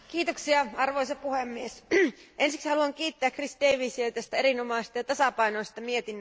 Arvoisa puhemies, ensiksi haluan kiittää Chris Daviesia tästä erinomaisesta ja tasapainoisesta mietinnöstä.